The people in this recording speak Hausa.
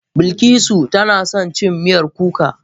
Bilikisu tana son cin Miyar kuka